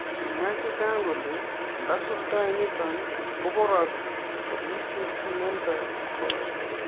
Kimwaa chechang kole ndesuldai nitok koporok kobitu imenindo kipkoi